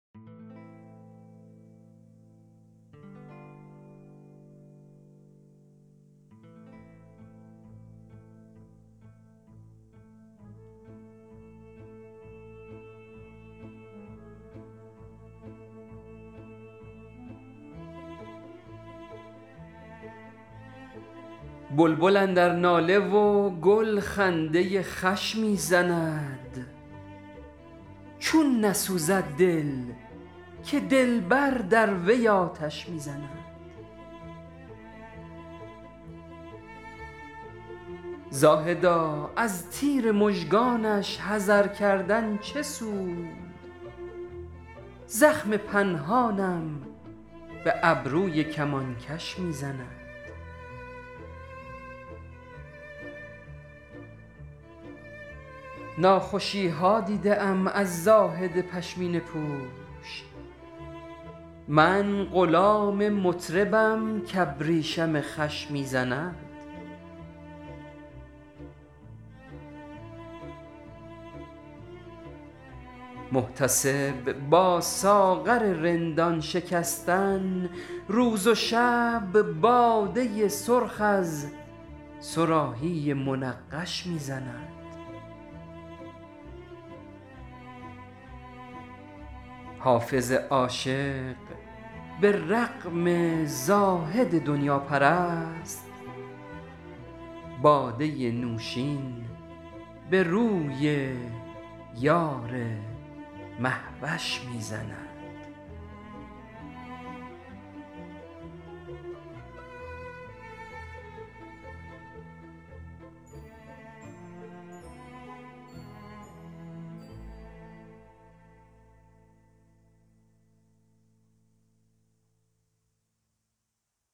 بلبل اندر ناله و گل خنده خوش می زند چون نسوزد دل که دلبر در وی آتش می زند زاهدا از تیر مژگانش حذر کردن چه سود زخم پنهانم به ابروی کمانکش می زند ناخوشی ها دیده ام از زاهد پشمینه پوش من غلام مطربم کابریشم خوش می زند محتسب با ساغر رندان شکستن روز و شب باده سرخ از صراحی منقش می زند حافظ عاشق به رغم زاهد دنیاپرست باده نوشین به روی یار مهوش می زند